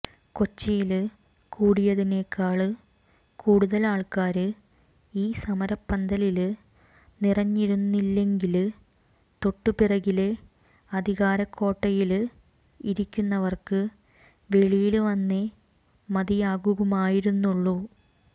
കൊച്ചിയില് കൂടിയതിനെക്കാള് കൂടുതല് ആള്ക്കാര് ഈ സമരപ്പന്തലില് നിറഞ്ഞിരുന്നില്ലെങ്കില് തൊട്ടുപിറകിലെ അധികാരക്കോട്ടയില് ഇരിക്കുന്നവര്ക്ക് വെളിയില് വന്നേ മതിയാകുമായിരുന്നുള്ളൂ